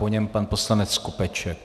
Po něm pan poslanec Skopeček.